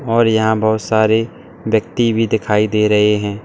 और यहां बहुत सारे व्यक्ति भी दिखाई दे रहे हैं।